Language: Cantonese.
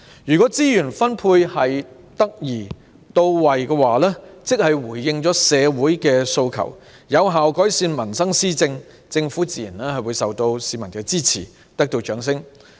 如果資源分配得宜到位、回應社會訴求及有效改善民生施政，政府自然會受到市民支持，得到掌聲。